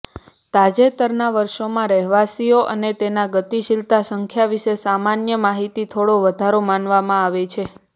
તાજેતરના વર્ષોમાં રહેવાસીઓ અને તેના ગતિશીલતા સંખ્યા વિશે સામાન્ય માહિતી થોડો વધારે માનવામાં આવે છે